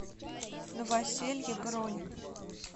новоселье бронь